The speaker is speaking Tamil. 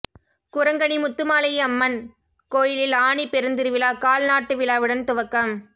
குரங்கணி முத்துமாலை அம்மன் கோயிலில் ஆனிப் பெருந்திருவிழா கால் நாட்டுவிழாவுடன் துவக்கம்